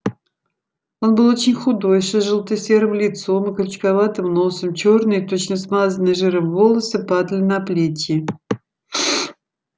он был очень худой с изжелта-серым лицом и крючковатым носом чёрные точно смазанные жиром волосы падали на плечи